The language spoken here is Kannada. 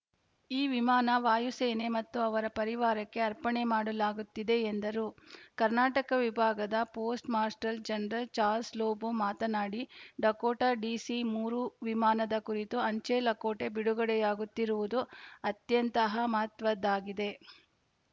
ಈ ವಿಮಾನ ವಾಯು ಸೇನೆ ಮತ್ತು ಅವರ ಪರಿವಾರಕ್ಕೆ ಅರ್ಪಣೆ ಮಾಡಲಾಗುತ್ತಿದೆ ಎಂದರು ಕರ್ನಾಟಕ ವಿಭಾಗದ post master general Charles Lobo ಮಾತನಾಡಿ ಡಕೋಟಾ ಡಿಸಿ ಮೂರು ವಿಮಾನದ ಕುರಿತ ಆಂಚೆ ಲಕೋಟೆ ಬಿಡುಗಡೆಯಾಗುತ್ತಿರುವುದು ಅತ್ಯಂತಹ ಮಹತ್ವದ್ದಾಗಿದೆ